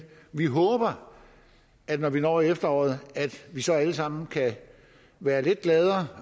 vi håber at vi når vi når efteråret så alle sammen kan være lidt gladere